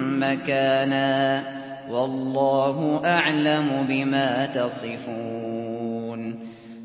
مَّكَانًا ۖ وَاللَّهُ أَعْلَمُ بِمَا تَصِفُونَ